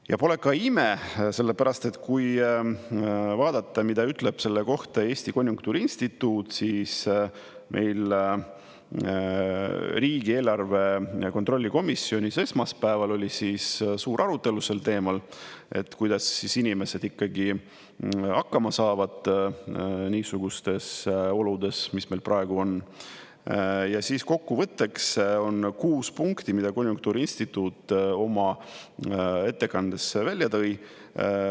Ja pole ka ime, sellepärast et kui vaadata, mida ütleb selle kohta Eesti Konjunktuuriinstituut – meil riigieelarve kontrolli komisjonis esmaspäeval oli suur arutelu sel teemal, kuidas inimesed hakkama saavad niisugustes oludes, mis meil praegu on –, siis kokkuvõtteks on kuus punkti, mida konjunktuuriinstituut oma ettekandes välja tõi.